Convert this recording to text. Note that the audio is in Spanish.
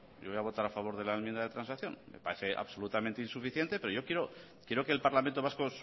yo voy a votar a favor de la enmienda de transacción me parece absolutamente insuficiente pero yo quiero que el parlamento vasco